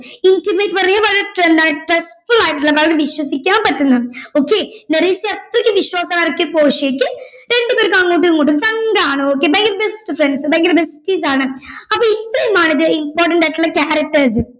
Intimate ന്ന് പറഞ്ഞാ വളരെ friend ആയിട്ട് trustfull ആയിട്ടുള്ള വളരെ വിശ്വസിക്കാൻ പറ്റുന്ന okay മെറീസയെ അത്രയ്ക്ക് വിശ്വാസാ ആർക്ക് പോർഷ്യക്ക് രണ്ടുപേർക്ക് അങ്ങോട്ടുമിങ്ങോട്ടും friend ആണ് okay ഭയങ്കര best friend ഭയങ്കര besties ആണ് അപ്പോ ഇത്രയുമാണ് important ആയിട്ടുള്ള characters